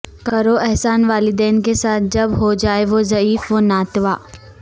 کرو احسان والدین کے ساتھ جب ہو جائیں وہ ضعیف وناتواں